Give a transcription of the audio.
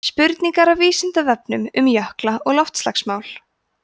spurningar af vísindavefnum um jökla og loftslagsmál